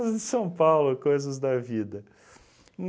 São Paulo, coisas da vida.